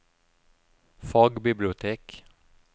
fagbibliotek